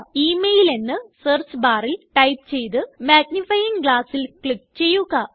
email എന്ന് search barല് type ചെയ്ത് മാഗ്നിഫയിംഗ് glassൽ ക്ലിക്ക് ചെയ്യുക